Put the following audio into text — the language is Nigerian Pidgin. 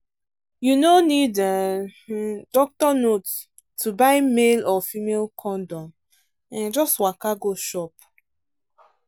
you no need um doctor note to buy male or female condom um — just waka go shop.